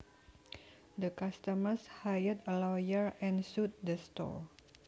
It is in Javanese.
The customers hired a lawyer and sued the store